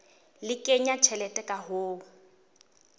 le kenya tjhelete ka ho